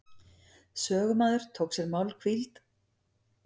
Sögumaður tók sér málhvíld.